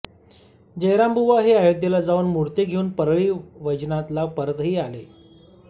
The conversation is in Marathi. जयरामबुवा हे अयोध्येला जाऊन मूर्ती घेऊन परळी वैजनाथला परतही आले